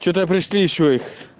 что-то пришли ещё их